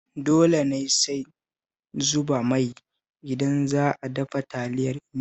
Dole ne sai zuba mai idan za a dafa Taliyar Indomi?